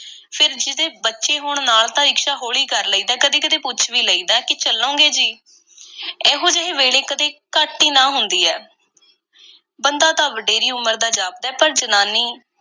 ਫੇਰ ਜਿਹਦੇ ਬੱਚੇ ਹੋਣ ਨਾਲ, ਤਾਂ ਰਿਕਸ਼ਾ ਹੌਲੀ ਕਰ ਲਈਦਾ ਐ। ਕਦੀ-ਕਦੀ ਪੁੱਛ ਵੀ ਲਈਦੈ ਕਿ ਚੱਲੋਗੇ ਜੀ? ਇਹੋ-ਜਿਹੇ ਵੇਲੇ ਕਦੀ ਘੱਟ ਈ ਨਾਂਹ ਹੁੰਦੀ ਐ ਬੰਦਾ ਤਾਂ ਵਡੇਰੀ ਉਮਰ ਦਾ ਜਾਪਦੈ, ਪਰ ਜਨਾਨੀ